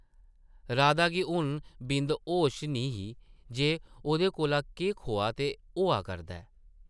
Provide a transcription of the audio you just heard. राधा गी हून बिंद होश निं ही जे ओह्दे कोला केह् खोआ ते होआ करदा ऐ ।